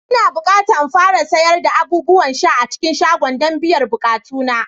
Ina bukata in fara sayar da abubuwan sha a cikin shagona don biyan bukatuna